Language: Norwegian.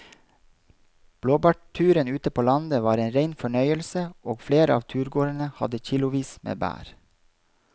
Blåbærturen ute på landet var en rein fornøyelse og flere av turgåerene hadde kilosvis med bær.